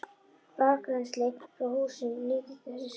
Bakrennsli frá húsum nýtist í þessu skyni.